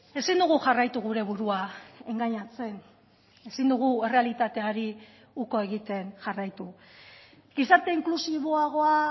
ezin dugu jarraitu gure burua engainatzen ezin dugu errealitateari uko egiten jarraitu gizarte inklusiboagoa